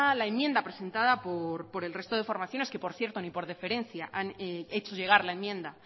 la enmienda presentada por el resto de formaciones que por cierto ni por deferencia han hecho llegar la enmienda